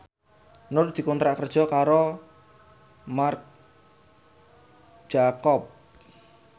Nur dikontrak kerja karo Marc Jacob